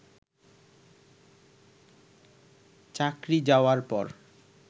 চাকরি যাওয়ার পর